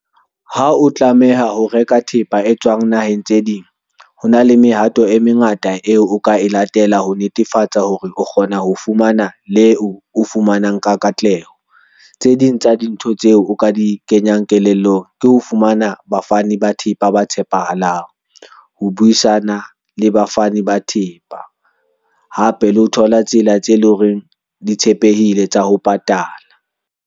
Ha o tlameha ho reka thepa e tswang naheng tse ding, ho na le mehato e mengata eo o ka e latela ho netefatsa hore o kgona ho fumana leo o fumanang ka katleho. Tse ding tsa dintho tseo o ka di kenyang kelellong ke ho fumana bafani ba thepa ba tshepahalang ho buisana le bafani ba thepa. Hape le ho thola tsela tse leng hore di tshepehile tsa ho patala.